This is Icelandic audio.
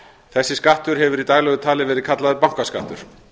þessi skattur hefur í daglegu tali verið kallaður bankaskattur